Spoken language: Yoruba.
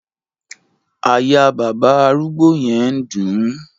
Àyà bàbá arúgbó yẹn ń dùn ún